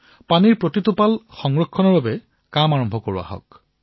পানীৰ এটা এটা টোপাল ৰক্ষা কৰাৰ বাবে সজাগতা অভিযানৰ আৰম্ভণি কৰা হওক